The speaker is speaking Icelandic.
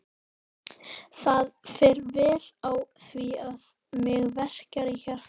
Það fer vel á því að mig verkjar í hjartað.